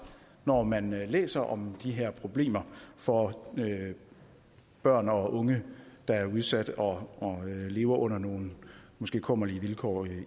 når man læser om de her problemer for børn og unge der er udsatte og lever under nogle måske kummerlige vilkår